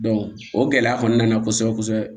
o gɛlɛya kɔni nana kosɛbɛ kosɛbɛ